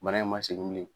Bana in ma segin bilen